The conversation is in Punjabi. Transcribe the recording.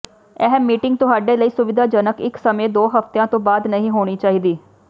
ਇਹ ਮੀਟਿੰਗ ਤੁਹਾਡੇ ਲਈ ਸੁਵਿਧਾਜਨਕ ਇਕ ਸਮੇਂ ਦੋ ਹਫ਼ਤਿਆਂ ਤੋਂ ਬਾਅਦ ਨਹੀਂ ਹੋਣੀ ਚਾਹੀਦੀ